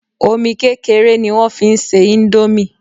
Omi kékeré ni wọ́n fi n se indomie